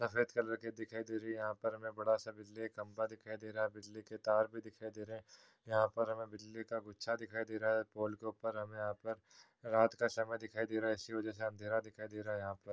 सफ़ेद कलर की दिखाई दे रही है। यहां पर हमे बड़ा सा बिजली का खम्बा दिखाई दे रहा है। बिजली के तार भी दिखाई दे रहे हैं। यहां पर हमे बिजली का गुच्छा दिखाई दे रहा है। पोल के ऊपर हमे यहा पर रात का समय दिखाई दे रहा है। इसी वजह से अंधेरा दिखाई दे रहा है यहा पर।